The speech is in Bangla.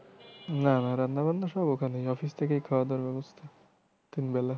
না না রান্নাবান্না সব ওখানেই office থেকেই খাওয়া দাওয়ার ব্যবস্থা তিন বেলা।